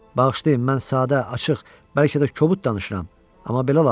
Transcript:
Bağışlayın, mən sadə, açıq, bəlkə də kobud danışıram, amma belə lazımdır.